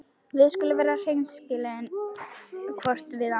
Við skulum vera hreinskilin hvort við annað.